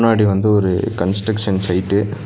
பின்னாடி வந்து ஒரு கன்ஸ்ட்ரக்ஷன் சைட்டு .